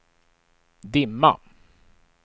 dimma